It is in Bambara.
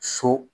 So